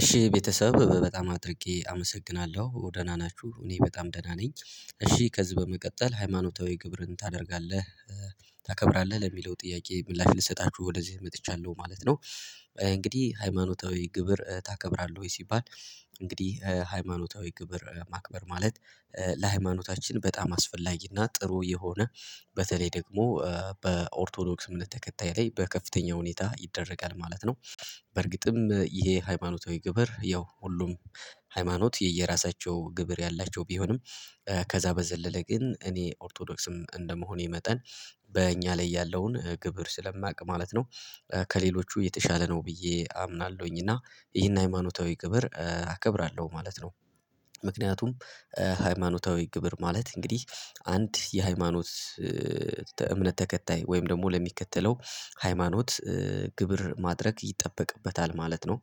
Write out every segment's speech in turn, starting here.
እሺ ቤተሰብ በጣም አድርጌ አመሰግናለሁ ደህና ናችሁ እኔ በጣም ደህና ነኝ። እሺ ከዚህ በመቀጠል ሃይማኖታዊ ግብርን ታደርጋለህ? ታከብራለህ ለሚለው ጥያቄ ምላሽ ልሰጣችሁ ወደዚህ መጥቻለሁ ማለት ነው። እንግዲህ ሃይማኖታዊ ግብር ታከብራለህ ወይ ሲባል? እንግዲህ ሃይማኖታዊ ግብር ማክበር ማለት ለሃይማኖታችን በጣም አስፈላጊና ጥሩ የሆነ በተለይ ደግሞ በኦርቶዶክስ እምነት ተከታይ ላይ በከፍተኛ ሁኔታ ይደረጋል ማለት ነው። በርግጥም ይሄ ሃይማኖታዊ ግብር ያው ሁሉም ሃይማኖት የየራሳቸው ግብር ያላቸው ቢሆንም ከዛ በዘለለ ግን እኔ ኦርቶዶክስም እንደመሆኔ መጠን በእኛ ላይ ያለውን ግብር ስለማውቅ ማለት ነው። ከሌሎቹ የተሻለ ነው ብዬ አምናለሁኝ እና ይህን ሃይማኖታዊ ግብር አከብራለሁ ማለት ነው። ምክንያቱም ሃይማኖታዊ ግብር ማለት እንግዲህ አንድ የሃይማኖት እምነት ተከታይ ወይም ደግሞ ለሚከተለው ሃይማኖት ግብር ማድረግ ይጠበቅበታል ማለት ነው።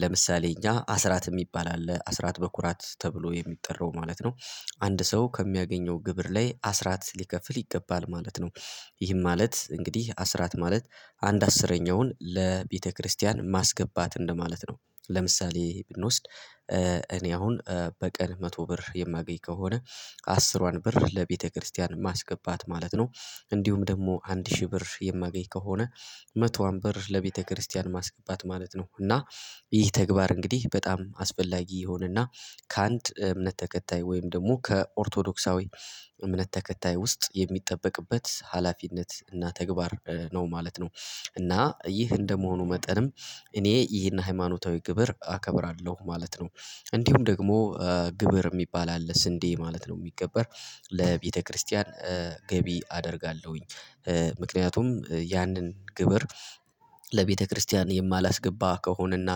ለምሳሌ እኛ አስራት የሚባል አለ አስራት በኩራት ተብሎ የሚጠራው ማለት ነው። አንድ ሰው ከሚያገኘው ግብር ላይ አስራት ሊከፍል ይገባል ማለት ነው። ይህም ማለት እንግዲህ አስራት ማለት አንድ አስረኛውን ለቤተክርስቲያን ማስገባት እንደማለት ነው። ለምሳሌ ብንወስድ እኔ አሁን በቀን መቶ ብር የማገኝ ከሆነ አስሯን ብር ለቤተክርስቲያን ማስገባት ማለት ነው። እንዲሁም ደግሞ አንድ ሺህ ብር የማገኝ ከሆነ መቶዋን ብር ለቤተክርስቲያን ማስገባት ማለት ነው። እና ይህ ተግባር እንግዲህ በጣም አስፈላጊ የሆነና ከአንድ እምነት ተከታይ ወይም ደግሞ ከኦርቶዶክሳዊ እምነት ተከታይ ውስጥ የሚጠበቅበት ሀላፊነት እና ተግባር ነው ማለት ነው። እና ይህ እንደመሆኑ መጠንም እኔ ይህን ሃይማኖታዊ ግብር አከብራለሁ ማለት ነው። እንዲሁም ደግሞ ግብር የሚባል አለ ስንዴ ማለት ነው የሚገበር ለቤተክርስቲያን ገቢ አደርጋለሁኝ። ምክንያቱም ያንን ግብር ለቤተክርስቲያን የማላስገባ ከሆነና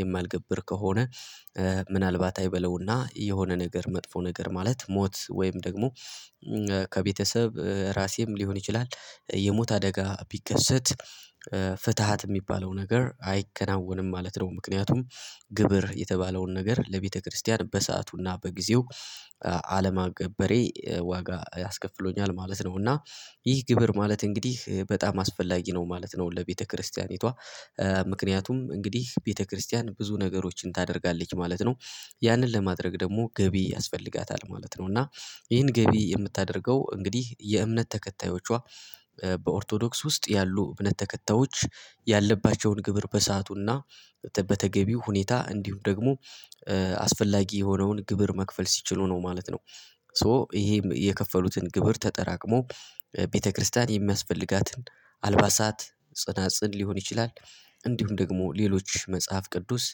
የማልገብር ከሆነ ምናልባት አይበለውና የሆነ ነገር መጥፎ ነገር ማለት ሞት ወይም ደግሞ ከቤተሰብ ራሴም ሊሆን ይችላል የሞት አደጋ ቢከሰት ፍትሃት የሚባለው ነገር አይከናወንም ማለት ነው። ምክንያቱም ግብር የተባለውን ነገር ለቤተክርስቲያን በሰአቱና በጊዜው አለማገበሬ ዋጋ ያስከፍለኛል ማለት ነው። እና ይህ ግብር ማለት እንግዲህ በጣም አስፈላጊ ነው ማለት ነው። ለቤተክርስቲያኒቷ ምክንያቱም እንግዲህ ቤተክርስቲያን ብዙ ነገሮችን ታደርጋለች ማለት ነው ያንን ለማድረግ ደግሞ ገቢ ያስፈልጋታል ማለት ነው። እና ይህን ገቢ የምታደርገው እንግዲህ የእምነት ተከታዮቿ በኦርቶዶክስ ውስጥ ያሉ እምነት ተከታዮች ያለባቸውን ግብር በሰአቱና በተገቢው ሁኔታ እንዲሁም ደግሞ አስፈላጊ የሆነውን ግብር መክፈል ሲችሉ ነው ማለት ነው። ሶ ይሄ የከፈሉትን ግብር ተጠራቅሞ ቤተክርስቲያን የሚያስፈልጋትን አልባሳት ጽናጽል ሊሆን ይችላል። እንዲሁም ደግሞ ሌሎች መጽሐፍ ቅዱስ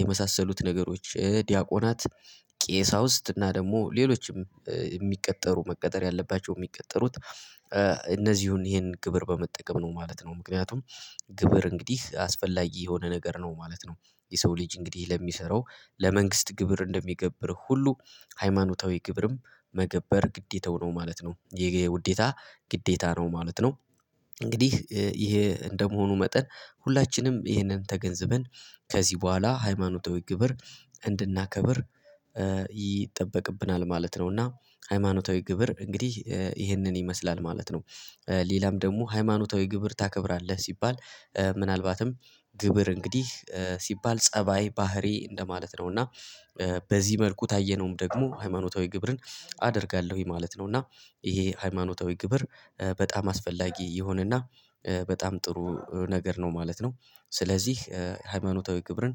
የመሳሰሉት ነገሮች ዲያቆናት ቄሳውስት እና ደግሞ ሌሎችም የሚቀጠሩ መቀጠር ያለባቸው የሚቀጠሩት እነዚህን ይሄንን ግብር በመጠቀም ነው ማለት ነው። ምክንያቱም ግብር እንግዲህ አስፈላጊ የሆነ ነገር ነው ማለት ነው። የሰው ልጅ እንግዲህ ለሚሰራው ለመንግስት ግብር እንደሚገብር ሁሉ ሃይማኖታዊ ግብርም መገበር ግዴታው ነው ማለት ነው ይሄ ውዴታ ግዴታ ነው ማለት ነው። እንግዲህ ይሄ እንደመሆኑ መጠን ሁላችንም ይህንን ተገንዝበን ከዚህ በኋላ ሃይማኖታዊ ግብር እንድናከብር ይጠበቅብናል ማለት ነው። እና ሃይማኖታዊ ግብር እንግዲህ ይህንን ይመስላል ማለት ነው። ሌላም ደግሞ ሃይማኖታዊ ግብር ታከብራለህ ሲባል ምናልባትም ግብር እንግዲህ ሲባል ፀባይ ባህሪ እንደማለት ነው እና በዚህ መልኩ ታየነውም ደግሞ ሃይማኖታዊ ግብርን አደርጋለሁኝ ማለት ነው። እና ይሄ ሃይማኖታዊ ግብር በጣም አስፈላጊ የሆነና በጣም ጥሩ ነገር ነው ማለት ነው። ስለዚህ ሃይማኖታዊ ግብርን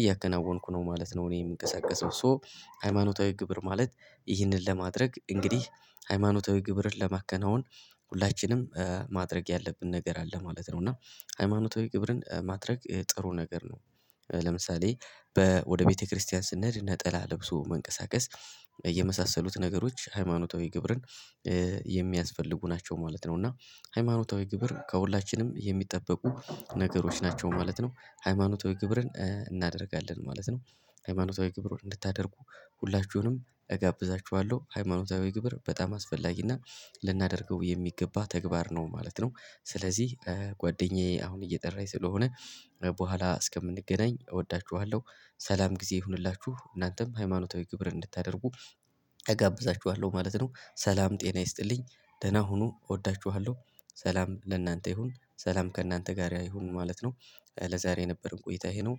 እያከናወንኩ ነው ማለት ነው። እኔ የምንቀሳቀሰው ሶ ሃይማኖታዊ ግብር ማለት ይህንን ለማድረግ እንግዲህ ሃይማኖታዊ ግብርን ለማከናወን ሁላችንም ማድረግ ያለብን ነገር አለ ማለት ነው። እና ሃይማኖታዊ ግብርን ማድረግ ጥሩ ነገር ነው። ለምሳሌ ወደ ቤተክርስቲያን ስንሄድ ነጠላ ለብሶ መንቀሳቀስ የመሳሰሉት ነገሮች ሃይማኖታዊ ግብርን የሚያስፈልጉ ናቸው ማለት ነው። እና ሃይማኖታዊ ግብር ከሁላችንም የሚጠበቁ ነገሮች ናቸው ማለት ነው። ሃይማኖታዊ ግብርን እናደርጋለን ማለት ነው። ሃይማኖታዊ ግብርን እንድታደርጉ ሁላችሁንም እጋብዛችኋለሁ ሃይማኖታዊ ግብር በጣም አስፈላጊና ልናደርገው የሚገባ ተግባር ነው ማለት ነው። ስለዚህ ጓደኛዬ አሁን እየጠራኝ ስለሆነ በኋላ እስከምንገናኝ እወዳችኋለሁ። ሰላም ጊዜ ይሁንላችሁ እናንተም ሃይማኖታዊ ግብር እንድታደርጉ እጋብዛችኋለሁ ማለት ነው። ሰላም ጤና ይስጥልኝ። ደህና ሁኑ እወዳችኋለሁ። ሰላም ለእናንተ ይሁን ሰላም ከእናንተ ጋር ይሁን ማለት ነው። ለዛሬ የነበርን ቆይታ ይሄ ነው።